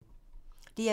DR P2